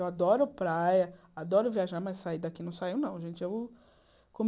Eu adoro praia, adoro viajar, mas sair daqui não saio, não, gente. Eu